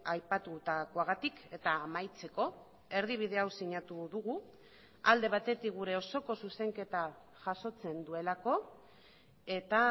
aipatutakoagatik eta amaitzeko erdibide hau sinatu dugu alde batetik gure osoko zuzenketa jasotzen duelako eta